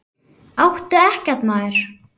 Áttu EKKERT, maður!